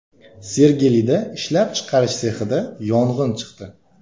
Sergelida ishlab chiqarish sexida yong‘in chiqdi .